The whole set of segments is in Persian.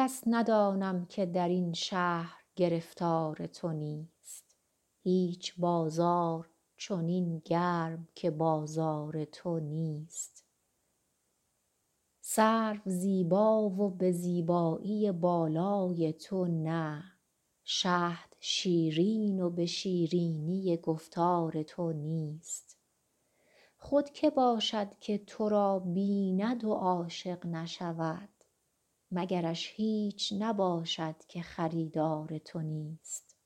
کس ندانم که در این شهر گرفتار تو نیست هیچ بازار چنین گرم که بازار تو نیست سرو زیبا و به زیبایی بالای تو نه شهد شیرین و به شیرینی گفتار تو نیست خود که باشد که تو را بیند و عاشق نشود مگرش هیچ نباشد که خریدار تو نیست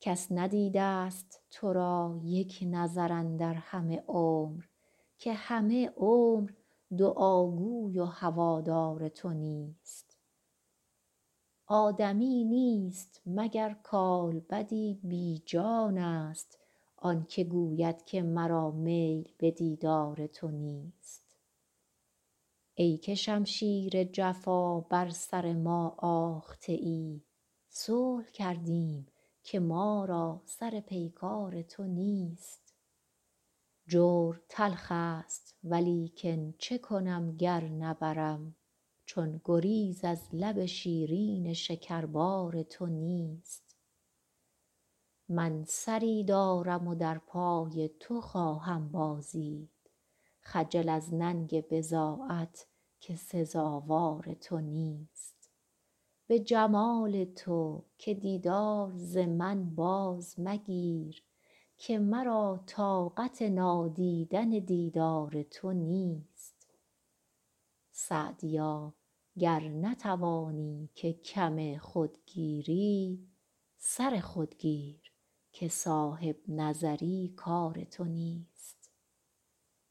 کس ندیده ست تو را یک نظر اندر همه عمر که همه عمر دعاگوی و هوادار تو نیست آدمی نیست مگر کالبدی بی جانست آن که گوید که مرا میل به دیدار تو نیست ای که شمشیر جفا بر سر ما آخته ای صلح کردیم که ما را سر پیکار تو نیست جور تلخ ست ولیکن چه کنم گر نبرم چون گریز از لب شیرین شکربار تو نیست من سری دارم و در پای تو خواهم بازید خجل از ننگ بضاعت که سزاوار تو نیست به جمال تو که دیدار ز من باز مگیر که مرا طاقت نادیدن دیدار تو نیست سعدیا گر نتوانی که کم خود گیری سر خود گیر که صاحب نظر ی کار تو نیست